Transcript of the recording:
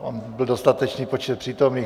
Byl dostatečný počet přítomných.